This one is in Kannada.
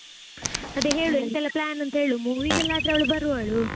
ಅದೇ ಹೇಳು ಎಂತ ಎಲ್ಲಾ plan ಅಂತ ಹೇಳು movie ಗೆಲ್ಲಾ ಆದರೆ ಅವಳು ಬರುವಳು.